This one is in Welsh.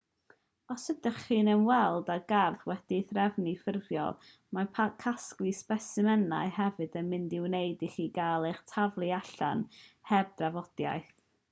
os ydych chi'n ymweld â gardd wedi'i threfnu'n ffurfiol mae casglu sbesimenau hefyd yn mynd i wneud i chi gael eich taflu allan heb drafodaeth